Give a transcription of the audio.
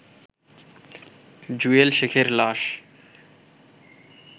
জুয়েল শেখের লাশ